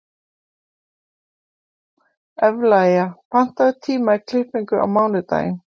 Evlalía, pantaðu tíma í klippingu á mánudaginn.